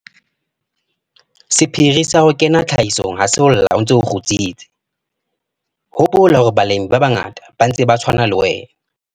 Sephiri sa ho kena hape tlhahisong ha se ho lla o ntse o kgutsitse. Hopola hore balemi ba bangata ba ntse ba tshwana le wena.